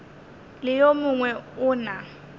le yo mongwe o na